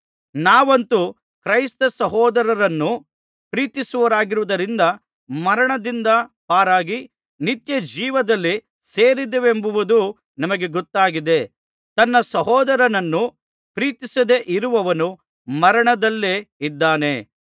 ನಾವಂತೂ ಕ್ರೈಸ್ತಸಹೋದರರನ್ನು ಪ್ರೀತಿಸುವವರಾಗಿರುವುದರಿಂದ ಮರಣದಿಂದ ಪಾರಾಗಿ ನಿತ್ಯಜೀವದಲ್ಲಿ ಸೇರಿದ್ದೇವೆಂಬುದು ನಮಗೆ ಗೊತ್ತಾಗಿದೆ ತನ್ನ ಸಹೋದರನನ್ನು ಪ್ರೀತಿಸದೆ ಇರುವವನು ಮರಣದಲ್ಲೇ ಇದ್ದಾನೆ